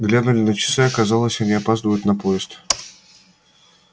глянули на часы оказалось они опаздывают на поезд